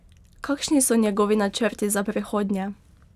Kakšni so njegovi načrti za prihodnje?